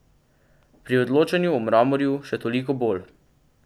Pri odločanju o Mramorju še toliko bolj.